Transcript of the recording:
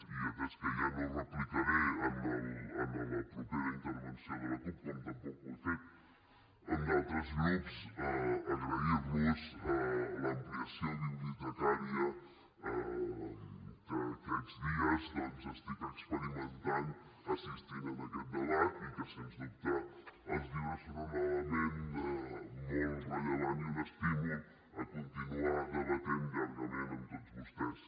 i atès que ja no replicaré en la propera intervenció de la cup com tampoc ho he fet amb d’altres grups agrair los l’ampliació bibliotecària que aquests dies doncs estic experimentant assistint en aquest debat i que sens dubte els llibres són un element molt rellevant i un estímul a continuar debatent llargament amb tots vostès